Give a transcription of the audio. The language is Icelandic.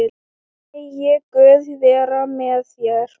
Megi Guð vera með þér.